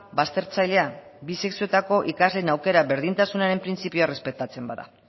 baztertzailea bi sexuetako ikasleen aukera berdintasunaren printzipioa errespetatzen bada